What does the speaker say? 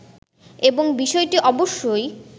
এবং বিষয়টি অবশ্যই